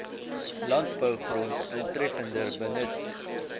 landbougrond doeltreffender benut